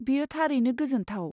बेयो थारैनो गोजोन्थाव।